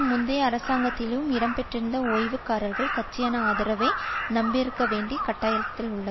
முந்தைய அரசாங்கத்திலும் இடம் பெற்றிருந்த ஓய்வூதியக்காரர்கள் கட்சியான ஆதரவை நம்பியிருக்க வேண்டிய கட்டாயத்தில் உள்ளது